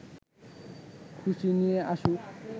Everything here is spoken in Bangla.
খুশি নিয়ে আসুক